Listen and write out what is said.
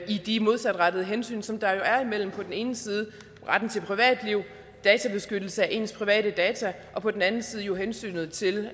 i de modsatrettede hensyn som der jo er imellem på den ene side retten til privatliv beskyttelse af ens private data og på den anden side jo hensynet til